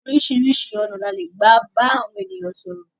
Oríṣi ọ̀nà ní a lè gbà bá àwọn ènìyàn sọ̀rọ̀.